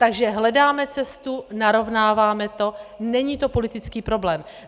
Takže hledáme cestu, narovnáváme to, není to politický problém.